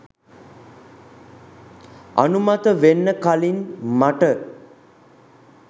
අනුමත වෙන්න කලින් මට